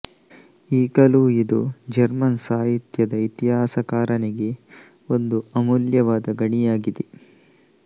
ಈಗಲೂ ಇದು ಜರ್ಮನ್ ಸಾಹಿತ್ಯದ ಇತಿಹಾಸಕಾರನಿಗೆ ಒಂದು ಅಮೂಲ್ಯವಾದ ಗಣಿಯಾಗಿದೆ